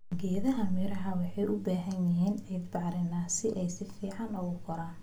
Geedaha miro waxay u baahan yihiin ciid bacrin ah si ay si fiican ugu koraan.